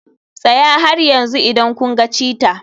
Tsaya har yanzu idan kun ga cheetah.